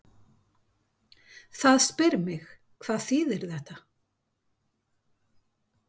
Það spyr mig, hvað þýðir þetta?